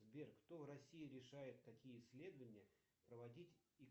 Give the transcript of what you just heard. сбер кто в россии решает какие исследования проводить